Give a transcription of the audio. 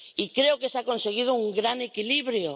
Creo que se ha conseguido un gran equilibrio